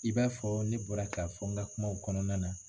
I b'a fɔ ne bɔra ka fɔ n ka kumaw kɔnɔna na